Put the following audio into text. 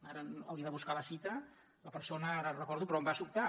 ara hauria de buscar la cita la persona ara no la recordo però em va sobtar